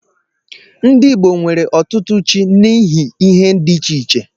Ndị Igbo nwere ọtụtụ chi n’ihi ihe dị iche iche.